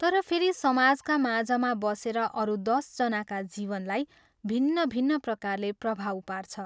तर फेरि समाजका माझमा बसेर अरू दश जनाका जीवनलाई भिन्न भिन्न प्रकारले प्रभाव पार्छ।